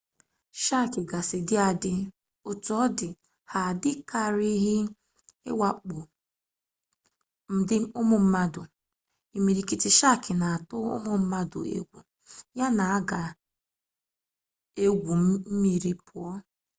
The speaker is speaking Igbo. shaakị gasị dị adị otu ọ dị ha adịkarịghị awakpo ụmụ mmadụ imirikiti shaakị na-atụ ụmụ mmadụ egwu yana ga-egwu mmiri pụọ